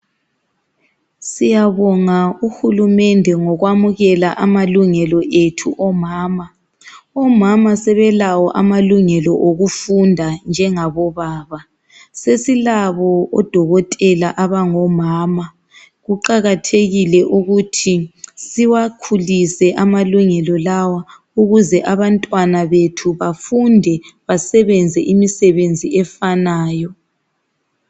Siyabonga uhulumede ngokwamukela amalungelo ethu omama omama sebelawo amalungelo wokufunda njengabo baba sesi labo odokotela abango mama kuqakathekile ukuthi Siwa khulise amalungelo lawa ukuze abantwana bethu bafunde basebenze imisebenzi efanayo